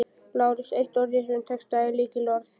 LÁRUS: Eitt orð í þessum texta er lykilorðið.